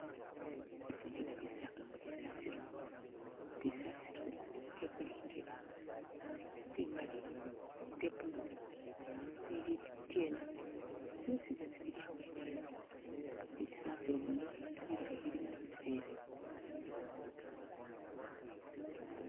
Kyifo kyino bisagamo bisasilo ,bisasilo bye buli'ngeli ,bimali, bye blue ni bili bityena byosi zana bili awene wo ,bisasilo bino bilala bili mu bivera